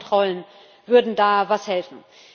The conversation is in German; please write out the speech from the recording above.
Grenzkontrollen würden da was helfen.